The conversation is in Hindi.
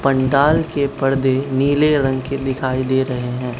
पंडाल के पर्दे नीले रंग के दिखाई दे रहे हैं।